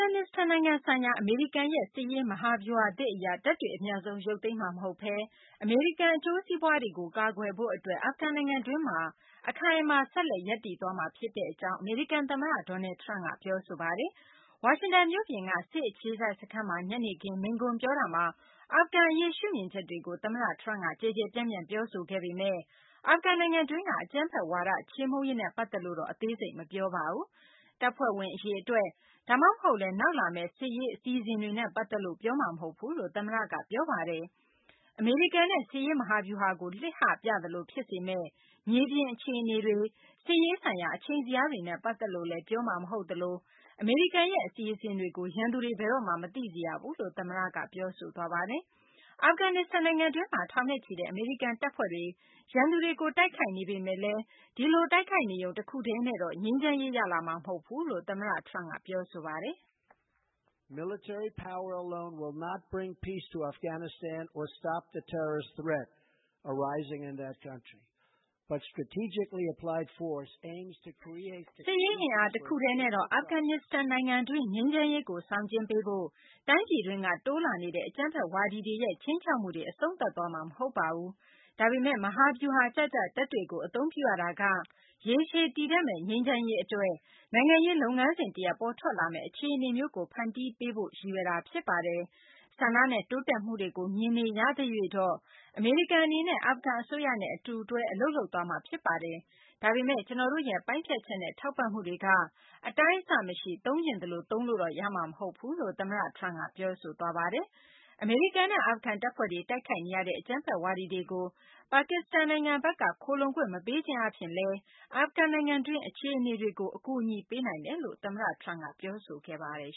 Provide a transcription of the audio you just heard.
န်နစ္စတန်နိုင်ငံ ဆိုင်ရာ အမေရိကန်ရဲ့ စစ်ရေး မဟာဗျူဟာသစ်က တပ်တွေ အမြန်ဆုံး ရုပ်သိမ်းမှာမဟုတ်ဘဲ အမေရိကန် အကျိုးစီးပွားတွေကို ကာကွယ်ဖို့ အတွက် အာဖဂန်နိုင်ငံတွင်းမှာ အခိုင်အမာ ဆက်လက်ရပ်တည်သွားမှာ ဖြစ်ကြောင်း အမေရိကန် သမ္မတ Donald Trump က ပြောဆိုလိုက်ပါတယ်။ ဝါရှင်တန် မြို့ပြင်က စစ်အခြေစိုက် စခန်းမှာ ညနေခင်း မိန့်ခွန်းပြောတာမှာ အာဖဂန်အရေး ရှုမြင်ချက်တွေကို သမ္မတ Trump က ကျယ်ကျယ်ပြန့်ပြန့် ပြောဆိုခဲ့ပေမယ့် အာဖဂန်နိုင်ငံတွင်းက အကြမ်းဖက်ဝါဒကို ချေမှုန်းရေးနဲ့ ပတ်သက်လို့တေ့ အသေးစိတ် မပြောခဲ့ပါဘူး။ တပ်ဖွဲ့ဝင် အရေအတွက်၊ ဒါမှမဟုတ်လည်း နောက်လာမယ့် စစ်ရေး အစီအစဉ်တွေနဲ့ ပတ်သက်လို့ ပြောမှာမဟုတ်ဘူးလို့ သမ္မတက ပြောပါတယ်။ အမေရိကန်ရဲ့ စစ်ရေးမဟာဗျူဟာကို လှစ်ဟပြသလို ဖြစ်စေမယ့် မြေပြင်အခြေအနေတွေ၊ စစ်ရေးဆိုင်ရာ အချိန်ဇယားတွေနဲ့ ပတ်သက်လို့လည်း ပြောမှာ မဟုတ်သလို အမေရိကန်ရဲ့ အစီအစဉ်တွေကိုလည်း ရန်သူတွေ ဘယ်တော့မှ မသိစေရဘူးလို့လည်း သမ္မတက ပြောဆိုသွားပါတယ်။ အာဖဂန်နစ္စတန် နိုင်ငံတွင်းမှာ ထောင်နဲ့ချီတဲ့ အမေရိကန် တပ်ဖွဲ့တွေ ရန်သူတွေကို တိုက်ခိုက်နေပေမယ့်လည်း ဒီလို တိုက်ခိုက်နေရုံ တခုတည်းနဲ့တော့ ငြိမ်းချမ်းရေး ရလာမှာ မဟုတ်ဘူးလို့လည်း သမ္မတ Trump က ပြောဆိုပါတယ်။ "စစ်ရေးအင်အား တခုတည်းနဲ့တော့ အာဖဂန်နစ္စတန် နိုင်ငံတွင်း ငြိမ်းချမ်းရေးကို ဆောင်ကျဉ်းပေးဖို့၊ တိုင်းပြည်တွင်းက တိုးလာနေတဲ့ အကြမ်းဖက်ဝါဒီတွေရဲ့ ခြိမ်းခြောက်မှုတွေ အဆုံးသတ်သွားမှာ မဟုတ်ပါဘူး။ ဒါပေမယ့် မဟာဗျူဟာကျကျ တပ်တွေကို အသုံးပြုရတာက ရေရှည်တည်တံ့မယ့် ငြိမ်းချမ်းရေး အတွက် နိုင်ငံရေး လုပ်ငန်းစဉ် တရပ်ပေါ်ထွက်လာမယ့် အခြေအနေမျိုးကို ဖန်တီးပေးနိုင်ဖို့ ရည်ရွယ်တာ ဖြစ်ပါတယ်။ ဆန္ဒနဲ့ တိုးတက်မှုတွေကို မြင်နေရသရွေ့တော့ အမေရိကန် အနေနဲ့ အာဖဂန် အစိုးရနဲ့ အတူတွဲ အလုပ်လုပ်သွားမှာ ဖြစ်ပါတယ်။ ဒါပေမယ့် ကျနော်တို့ရဲ့ ပိုင်းဖြတ်ချက်နဲ့ ထောက်ပံ့မှုတွေက အတိုင်းအဆမရှိ သုံးချင်သလိုသုံးလို့တော့ ရမှာ မဟုတ်ပါဘူးလို့ သမ္မတ Trump က ပြောဆိုခဲ့တာပါ။" အမေရိကန်နဲ့ အာဖဂန် တပ်ဖွဲ့တွေ တိုက်ခိုက်နေရတဲ့ အကြမ်းဖက်ဝါဒီတွေကို ပါကစ္စတန် နိုင်ငံဘက်က ခိုလှုံခွင့် မပေးခြင်းအားဖြင့် အာဖဂန်နိုင်ငံတွင်း အခြေအနေတွေကို ကူညီပေးနိုင်တယ်လို့လည်း သမ္မတ Trump က ပြောဆိုခဲ့ပါတယ်